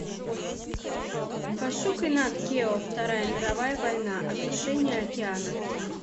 пошукай нат гео вторая мировая война осушение океана